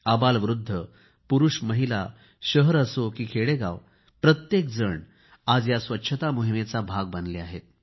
अबालवृद्ध पुरूष असो की महिला शहर असो की खेडेगाव प्रत्येकजण आज या स्वच्छता मोहिमेचा भाग बनले आहेत